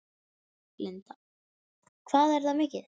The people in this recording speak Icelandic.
Linda: Hvað er það mikið?